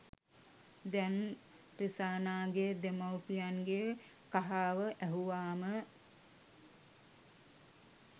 දැන් රිසානාගේ දෙමව්පියන්ගේ කහාව ඇහුවාම